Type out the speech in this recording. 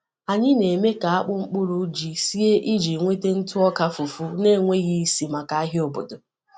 Anyị na-eme ka akpụ mkpụrụ ji sie iji nweta ntụ ọka fufu na-enweghị isi maka ahịa obodo.